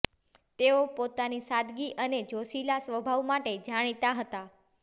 તેઓ પોતાની સાદગી અને જોશીલા સ્વાભાવ માટે જાણીતા હતા